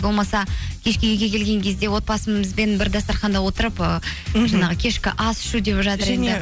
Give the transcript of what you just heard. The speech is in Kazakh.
болмаса кешке үйге келген кезде отбасымызбен бір дастарханда отырып ыыы кешкі ас ішу